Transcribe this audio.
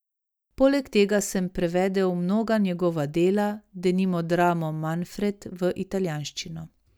Poleg tega sem prevedel mnoga njegova dela, denimo dramo Manfred, v italijanščino.